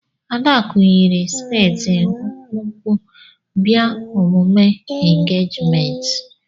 Adaku yiri skẹti mkpụmkpụ bịa omume engejimenti.